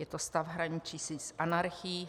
Je to stav hraničící s anarchií.